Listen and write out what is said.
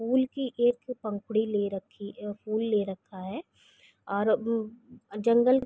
फूल की एक पंखुड़ी ले रखी अ फूल ले रखा है। और अम्ब जंगल --